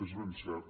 és ben cert